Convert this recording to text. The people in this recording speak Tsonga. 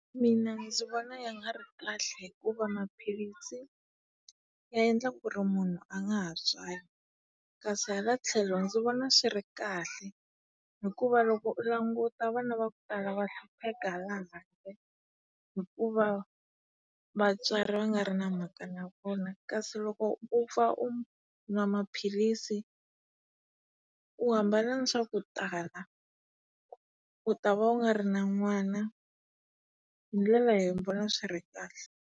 Mina ndzi vona ya nga ri kahle hikuva maphilisi ya endla ku ri munhu a nga ha tswali. Kasi hala tlhelo ndzi vona swi ri kahle hikuva loko u languta vana va ku tala va hlupheka hala handle hikuva vatswari va nga ri na mhaka na vona kasi loko u pfa u nwa maphilisi, u hambana ni swa ku tala. U ta va u nga ri na n'wana. Hi ndlela leyi ni vona swi ri kahle.